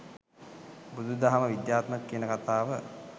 බුදු දහම විද්‍යාත්මක ‍කියන කතාව